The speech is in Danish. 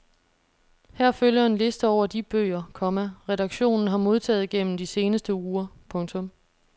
Her følger en liste over de bøger, komma redaktionen har modtaget gennem de seneste uger. punktum